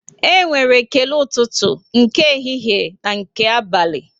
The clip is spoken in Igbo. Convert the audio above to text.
E nwere ekele ụtụtụ, nke ehihie na nke abalị